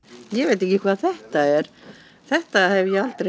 ég veit ekki hvað þetta er þetta hef ég aldrei